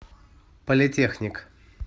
политехник